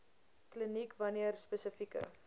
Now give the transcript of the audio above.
kliniek wanneer spesifieke